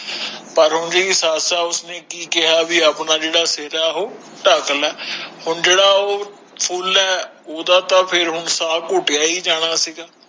ਪਰ ਓਹਦੀ ਸੱਸ ਉਸਨੇ ਕਿ ਕੇਹਾ ਕਿ ਅਪਣਾ ਜੇੜਾ ਸਿਰ ਹੈ ਓਹੁ ਠ੍ਕ ਲੈ ਹੁਣ ਜੇੜਾ ਓ ਫੁੱਲ ਹੈ ਉਦਾ ਤਾ ਫੇਰ ਹੁਣ ਸਾਹ ਘੁਟਯਾ ਹੀ ਜਾਣਾ ਸੀ ਗਾ